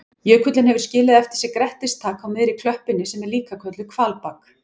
Jökullinn hefur skilið eftir sig grettistak á miðri klöppinni sem er líka kölluð hvalbak.